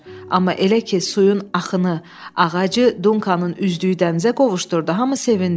Amma elə ki, suyun axını ağacı Dunkanın üzdüyü dənizə qovuşdurdu, hamı sevindi.